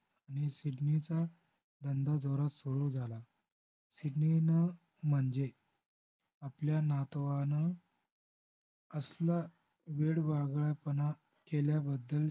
नी सिडनीचा धंदा जोरात सुरु झाला सिडनीनं म्हणजे आपल्या नातवानं असला वेडवागळेपणा केल्याबद्दल